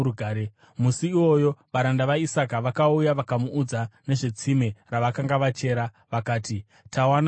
Musi iwoyo varanda vaIsaka vakauya vakamuudza nezvetsime ravakanga vachera. Vakati, “Tawana mvura!”